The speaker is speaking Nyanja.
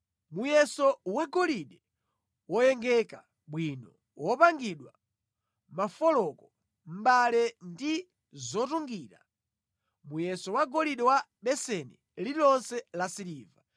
muyeso wa golide woyengeka bwino wopangira mafoloko, mbale ndi zotungira; muyeso wa golide wa beseni lililonse la siliva;